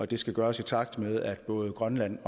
det skal gøres i takt med at både grønland